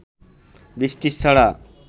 বৃষ্টির ছড়া